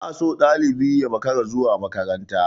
Ba a so ɗalibi yai makarar zuwa makaranta.